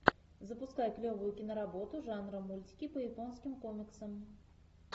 запускай клевую киноработу жанра мультики по японским комиксам